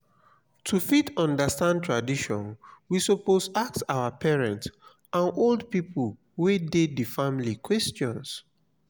to fit understand tradition we suppose ask our parents and old pipo wey de di family questions